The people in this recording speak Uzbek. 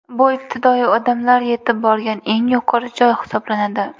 Bu ibtidoiy odamlar yetib borgan eng yuqori joy hisoblanadi.